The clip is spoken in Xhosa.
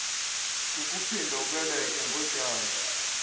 kukuphinda ubeleke ngotyando